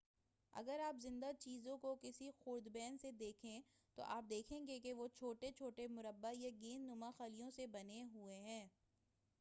اگر آپ زندہ چیزوں کو کسی خوردبین سے دیکھیں تو آپ دیکھیں گے کہ وہ چھوٹے چھوٹے مربع یا گیند نما خلیوں سے بنے ہوئے ہیں